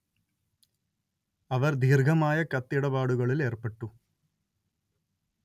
അവർ ദീർഘമായ കത്തിടപാടുകളിൽ ഏർപ്പെട്ടു